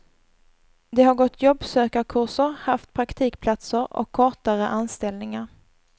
De har gått jobbsökarkurser, haft praktikplatser och kortare anställningar.